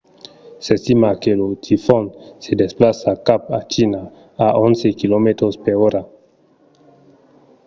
s’estima que lo tifon se desplaça cap a china a onze km/h